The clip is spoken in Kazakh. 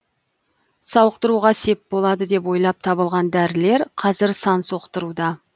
сауықтыруға сеп болады деп ойлап табылған дәрілер қазір сан соқтыруда